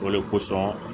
O de kosɔn